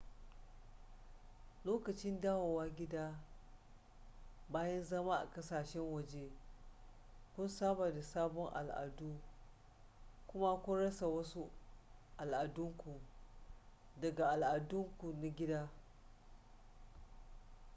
lokacin dawowa gida bayan zama a ƙasashen waje kun saba da sabon al'adun kuma kun rasa wasu al'adunku daga al'adunku na gida